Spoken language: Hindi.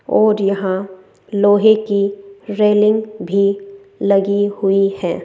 और यहां लोहे की रेलिंग भी लगी हुई हैं।